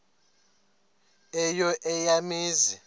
eyo eya mizi